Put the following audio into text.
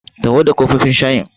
Taho da kofin shayi.